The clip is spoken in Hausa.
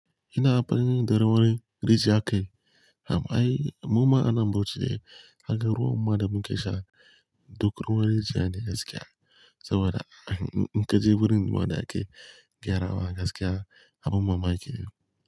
Ina abin darawa rijiyar kai. Amma ai muma anan bauchi, haka ruwan ma da muke sha duk ruwan jiya ne gaskiya. Saboda in kaje wurin wada ake gyara wa gaskiya, abun mamaki.